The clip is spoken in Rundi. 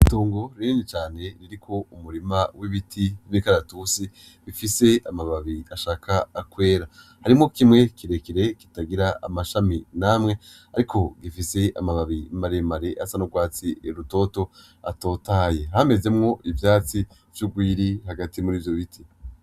Itongo rinini cane ririko umurima w'ibiti vy'imikaratusi, bifise amababi ashaka kwera harimwo kimwe kirekire kitagira amashami namwe, ariko gifise amababi maremare asa n'urwatsi rutoto atotahaye, hameze mwo ivyatsi rw'urwiri hagati muri ivyo biti.